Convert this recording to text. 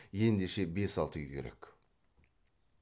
ендеше бес алты үй керек